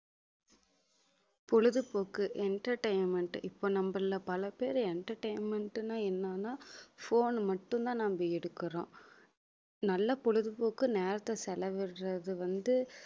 பொழுதுபோக்கு entertainment இப்ப நம்மள்ல பல பேரு entertainment ன்னா என்னன்னா phone மட்டும்தான் நம்ம எடுக்குறோம் நல்ல பொழுதுபோக்கு நேரத்தை செலவிடுறது வந்து